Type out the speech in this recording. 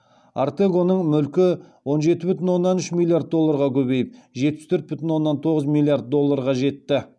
ортегоның мүлкі он жеті бүтін оннан үш миллиард долларға көбейіп жетпіс төрт бүтін оннан тоғыз миллиард долларға жетті